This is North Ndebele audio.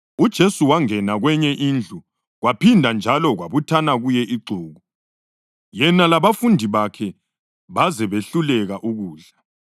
UJesu wangena kwenye indlu kwaphinda njalo kwabuthana kuye ixuku, yena labafundi bakhe baze behluleka ukudla.